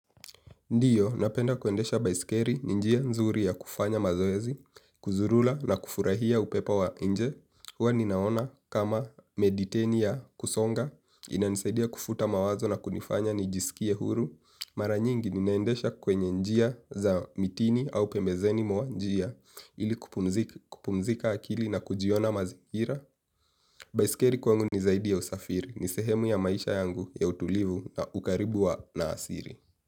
Ndiyo, napenda kuendesha baisikeri, ni njia nzuri ya kufanya mazoezi, kuzurula na kufurahia upepo wa nje. Huwa ninaona kama mediteni ya kusonga, ina nisaidia kufuta mawazo na kunifanya nijisikie huru. Maranyingi, ninaendesha kwenye njia za mitini au pembezeni mwa njia, ili kupumzika akili na kujiona mazikira. Baisikeri kwangu nizaidi ya usafiri, nisehemu ya maisha yangu ya utulivu na ukaribu wa na asiri.